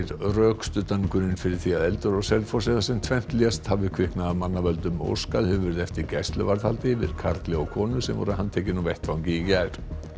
rökstuddan grun fyrir því að eldur á Selfossi þar sem tvennt lést hafi kviknað af mannavöldum óskað hefur verið eftir gæsluvarðhaldi yfir karli og konu sem voru handtekin á vettvangi í gær